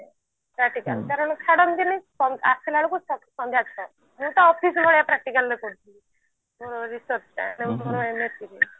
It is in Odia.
practical କାରଣ ଛାଡନ୍ତିନୀ ତ ଆସିଲା ବେଳକୁ ସନ୍ଧ୍ଯା ଛ ମୁଁ ତ office ଭଳିଆ practical ରେ କରିଛି ଉଁ research ରେ